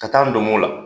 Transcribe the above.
Ka taa n donmo la